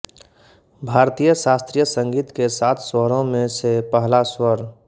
भारतीय शास्त्रीय संगीत के सात स्वरों में से पहला स्वर